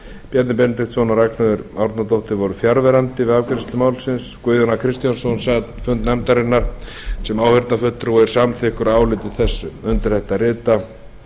bjarni benediktsson og ragnheiður e árnadóttir voru fjarverandi við afgreiðslu málsins guðjón a kristjánsson sat fund nefndarinnar sem áheyrnarfulltrúi og er samþykkur áliti þessu undir þetta rita